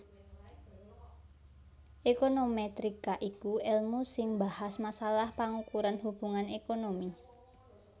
Ékonomètrika iku èlmu sing mbahas masalah pangukuran hubungan ékonomi